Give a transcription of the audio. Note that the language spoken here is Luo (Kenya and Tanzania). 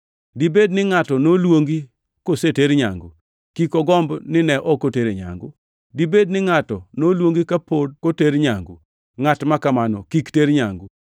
Dibed ni ngʼato noluongi koseter nyangu? Kik ogomb ni ne ok otere nyangu. Dibed ni ngʼato noluongi kapok oter nyangu? Ngʼat ma kamano kik ter nyangu.